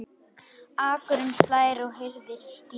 Akurinn slær og hirðir féð.